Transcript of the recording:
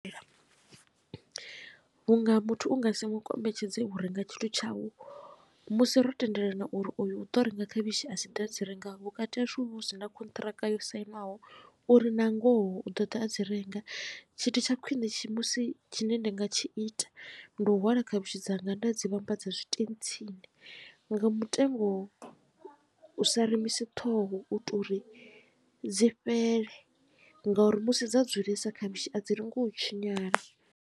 Vhunga muthu u nga si mu kombetshedze u renga tshithu tshau musi ro tendelana uri oyu u ḓo renga khavhishi asi ḓe a dzi renga vhukati hashu hu vha hu sina khonṱhiraka yo sainiwaho uri na ngoho u ḓo ḓa a dzi renga tshithu tsha khwine musi tshine nda nga tshi ita ndi u hwala khavhishi dzanga nda dzi vhambadza zwitentsini nga mutengo u sa remisi ṱhoho u tou ri dzi fhele ngauri musi dza dzulesa khavhishi a dzi lengi u tshinyala.